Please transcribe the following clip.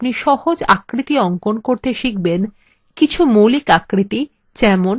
in টিউটোরিয়ালটিতে আপনি সহজ আকৃতি অঙ্কন করতে শিখবেন